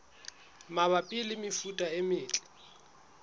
mabapi le mefuta e metle